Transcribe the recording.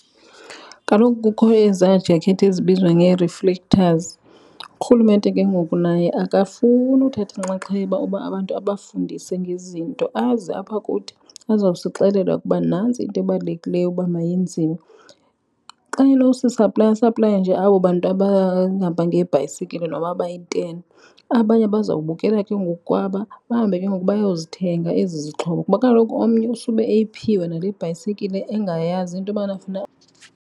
Kaloku kukho ezaa jakhethi ezibizwa ngee-reflectors. URhulumente ke ngoku naye akafuni uthatha inxaxheba uba abantu abafundise ngezinto aze apha kuthi azawusixelela ukuba nantsi into ebalulekileyo uba mayenziwe. Xa enowsisaplaya asaplaye nje abo bantu abahamba ngebhayisekile noba bayiteni. Abanye bawzabukela ke ngoku kwaba, bahambe ke ngoku bayozithenga ezi zixhobo kuba kaloku omnye usube eyiphiwe nale bhayisikile engayazi into yobana funeka .